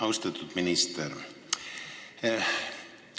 Austatud minister!